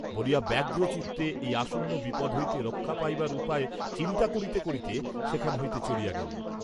বলিয়া ব্যগ্র চিত্তে এই আসন্ন বিপদ হইতে রক্ষা পাইবার উপায় চিন্তা করিতে করিতে সেখান হইতে চলিয়া গেলেন।